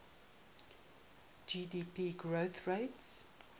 gdp growth rates